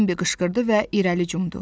deyə Bambi qışqırdı və irəli cumdu.